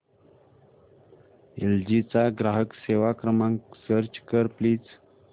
L G चा ग्राहक सेवा क्रमांक सर्च कर प्लीज